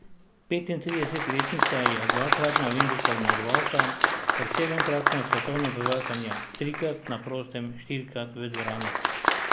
Petintridesetletnica je dvakratna olimpijska zmagovalka, ter sedemkratna svetovna prvakinja, trikrat na prostem in štirikrat v dvorani.